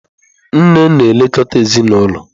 Nne na-elekọta ezinụlọ.